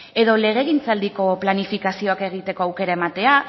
edo legegintzaldiko planifikazioak egiteko aukera ematea